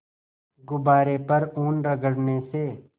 गुब्बारे पर ऊन रगड़ने से